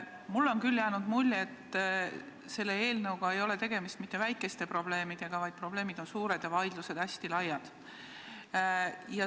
Mulle on küll jäänud mulje, et selle eelnõu puhul ei ole tegemist mitte väikeste probleemidega, vaid probleemid on suured ja vaidlused hästi laiad.